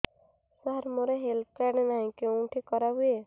ସାର ମୋର health card ନାହିଁ କେଉଁଠି କରା ହୁଏ